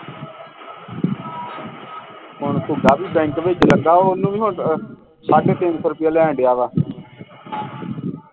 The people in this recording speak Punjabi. ਹੁਣ ਵੀ ਬੈਂਕ ਵਿਚ ਲੱਗਾ ਓਹਨੂੰ ਵੀ ਹੁਣ ਅਹ ਸਾਢੇ ਤਿੰਨ ਸੋ ਰੁਪਿਆ ਲੈਣ ਢਆ ਵਾ